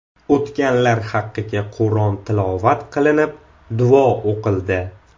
O‘tganlar haqiga Qur’on tilovat qilinib, duo o‘qildi.